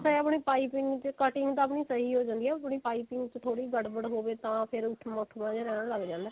ਇਹ ਆਪਣੀ ਪਾਈਪਿੰਨ ਤੇ cutting ਦਾ ਵੀ ਸਹੀ ਹੋ ਜਾਂਦੀ ਹੈ ਜੇ ਪਾਈਪਿੰਨ ਚ ਥੋੜੀ ਜੀ ਗੜਬੜ ਹੋਵੇ ਤਾਂ ਫੇਰ ਉੱਠਵਾਂ ਉੱਠਵਾਂ ਜਾ ਰਹਿਣ ਲੱਗ ਜਾਂਦਾ